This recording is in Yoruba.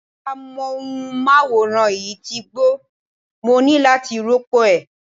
Amóhùnmáwòrán yìí ti gbó, mo ní láti rópò ẹ̀.